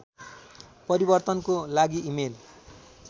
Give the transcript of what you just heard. परिवर्तनको लागि इमेल